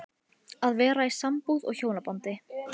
Hvítárgljúfur neðan Gullfoss er orðið til við rof